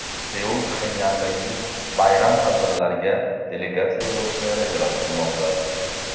Seul Pxenyandagi bayram tadbirlariga delegatsiya yuborishni rejalashtirmoqda.